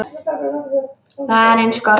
Það er eins gott.